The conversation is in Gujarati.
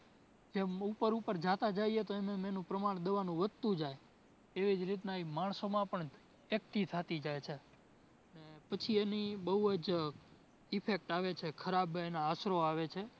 જેમ ઉપર ઉપર જાતા જઈએ તો એમ એમ એનું પ્રમાણ દવાનું વધતું જાય. એવી જ રીતના એ માણસોમાં પણ એકઠી થતી જાય છે ને પછી એની બોવ જ effect આવે છે ખરાબ એના અસરો આવે છે